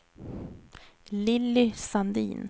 Lilly Sandin